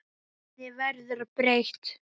Henni verður ekki breytt.